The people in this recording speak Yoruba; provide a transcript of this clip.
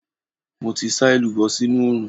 Mo ti sá èlùbọ́ sínú oòrùn.